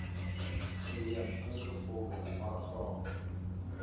geneem ingevolge paragraaf